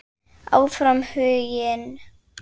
Áfram Huginn.